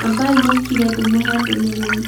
ambai mũkire ndĩmũhe ndũmĩrĩri